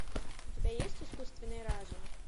у тебя есть искусственный разум